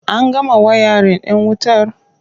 An gama wayarin ɗin wutar?